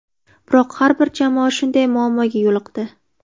Biroq har bir jamoa shunday muammoga yo‘liqdi.